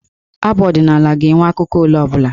Abụ ọdịnaala ga-enwe akụkụ ole ọ bụla.